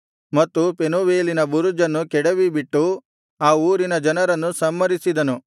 ಮತ್ತು ಪೆನೂವೇಲಿನ ಬುರುಜನ್ನು ಕೆಡವಿಬಿಟ್ಟು ಆ ಊರಿನ ಜನರನ್ನು ಸಂಹರಿಸಿದನು